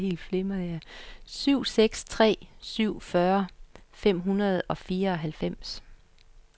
syv seks tre syv fyrre fem hundrede og fireoghalvfems